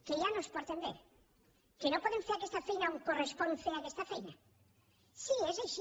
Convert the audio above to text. que ja no es porten bé que no poden fer aquesta feina on correspon fer aquesta feina sí és així